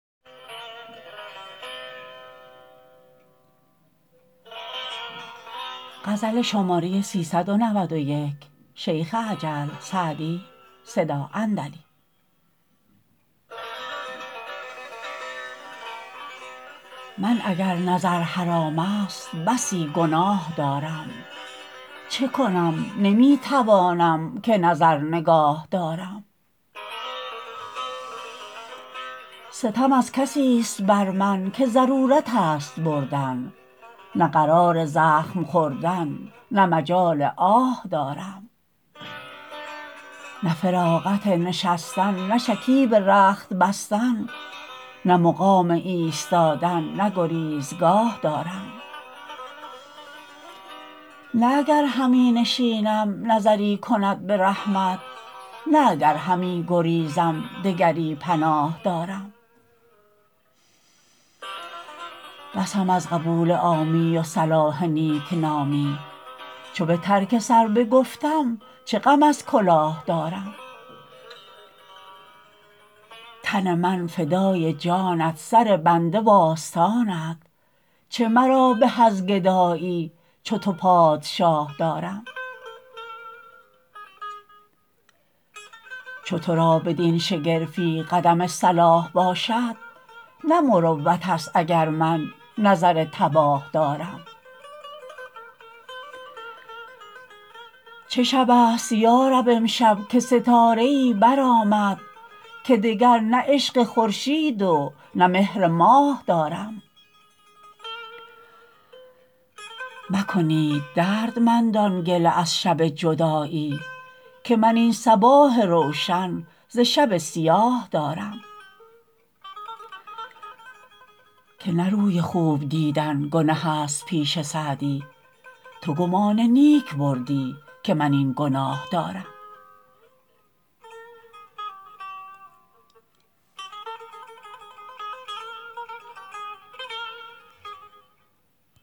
من اگر نظر حرام است بسی گناه دارم چه کنم نمی توانم که نظر نگاه دارم ستم از کسیست بر من که ضرورت است بردن نه قرار زخم خوردن نه مجال آه دارم نه فراغت نشستن نه شکیب رخت بستن نه مقام ایستادن نه گریزگاه دارم نه اگر همی نشینم نظری کند به رحمت نه اگر همی گریزم دگری پناه دارم بسم از قبول عامی و صلاح نیکنامی چو به ترک سر بگفتم چه غم از کلاه دارم تن من فدای جانت سر بنده وآستانت چه مرا به از گدایی چو تو پادشاه دارم چو تو را بدین شگرفی قدم صلاح باشد نه مروت است اگر من نظر تباه دارم چه شب است یا رب امشب که ستاره ای برآمد که دگر نه عشق خورشید و نه مهر ماه دارم مکنید دردمندان گله از شب جدایی که من این صباح روشن ز شب سیاه دارم که نه روی خوب دیدن گنه است پیش سعدی تو گمان نیک بردی که من این گناه دارم